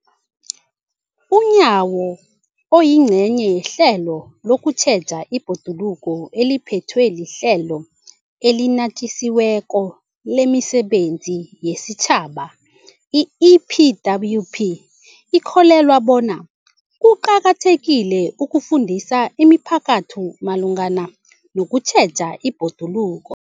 UNyawo, oyingcenye yehlelo lokutjheja ibhoduluko eliphethwe liHlelo eliNatjisi weko lemiSebenzi yesiTjhaba, i-EPWP, ukholelwa bona kuqakathekile ukufundisa imiphakathi malungana nokutjheja ibhoduluko.